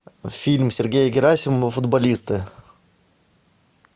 фильм сергея герасимова футболисты